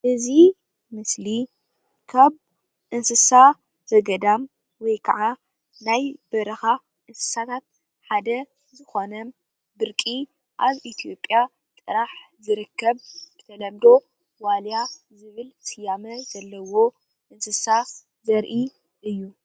እዚ ምስሊ ካብ እንስሳ ዘገዳም ወይ ከዓ ናይ በረኻ እንስሳታት ሓደ ዝኾነ ብርቂ አብ ኢትዮጵያ ጥራሕ ዝርከብ ብተለምዶ ዋልያ ስያመን ዘለዎ እንስሳ ዘርኢ እዩ።